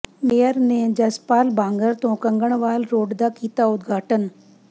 mayor ਨੇ ਜਸਪਾਲ ਬਾਂਗਰ ਤੋਂ Kanganwal road ਦਾ ਕੀਤਾ ਉਦਘਾਟਨ